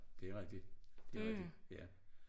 Det rigtig det rigtig ja